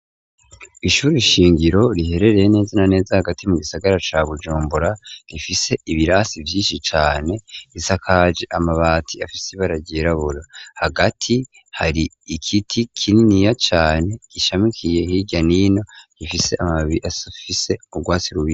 Ishure shingiro riherereye neza na neza hagati mu gisagara ca bujombora rifise ibirasi byinshi cane risakaji amabati afise baragirabura hagati hari ikiti kininiya cane gishamikiye hiryanino gifise amabiri asufise urwatsi rubisi.